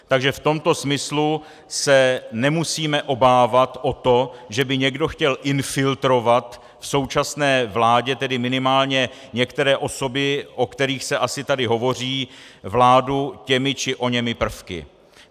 Takže v tomto smyslu se nemusíme obávat o to, že by někdo chtěl infiltrovat v současné vládě tedy minimálně některé osoby, o kterých se asi tady hovoří, vládu těmi či oněmi prvky.